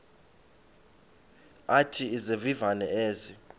athi izivivane ezi